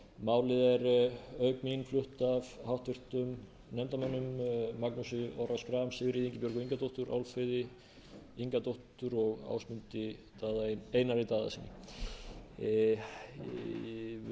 auk mín flutt af háttvirtum nefndarmönnum magnúsi orra schram sigríði ingibjörgu ingadóttur álfheiði ingadóttur og ásmundi einari daðasyni virðulegi forseti ég legg til